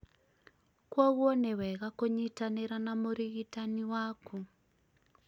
kwoguo nĩ wega kũnyitanĩra na mũrigitani waku